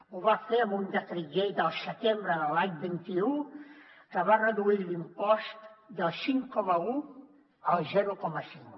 ho va fer amb un decret llei del setembre de l’any vint un que va reduir l’impost del cinc coma un al zero coma cinc